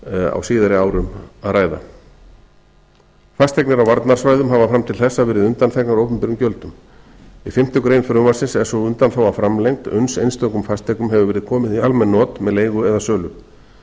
á síðari árum að ræða fasteignir á varnarsvæðum hafa fram til þessa verið undanþegnar opinberum gjöldum í fimmtu grein frumvarpsins er sú undanþága framlengd uns einstökum fasteignum hefur verið komið í almenn not með leigu eða sölu